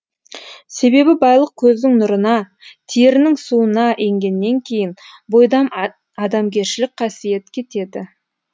себебі байлық көздің нұрына терінің суына енгеннен кейін бойдан адамгершілік қасиет кетеді